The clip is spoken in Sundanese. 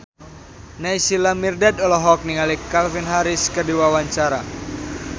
Naysila Mirdad olohok ningali Calvin Harris keur diwawancara